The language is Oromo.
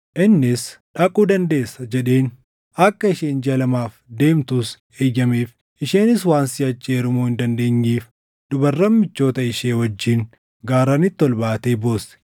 Innis, “Dhaquu dandeessa” jedheen. Akka isheen jiʼa lamaaf deemtus eeyyameef. Isheenis waan siʼachi heerumuu hin dandeenyeef dubarran michoota ishee wajjin gaarranitti ol baatee boosse.